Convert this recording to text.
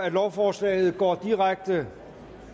at lovforslaget går direkte